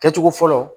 Kɛcogo fɔlɔ